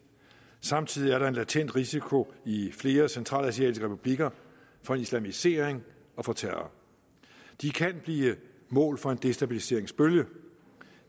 samtidig er der en latent risiko i flere centralasiatiske republikker for islamisering og for terror de kan blive mål for en destabiliseringsbølge